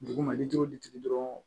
Duguma ni togo ditigi dɔrɔn